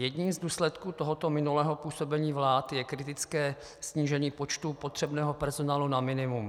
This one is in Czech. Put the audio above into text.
Jedním z důsledků tohoto minulého působení vlád je kritické snížení počtu potřebného personálu na minimum.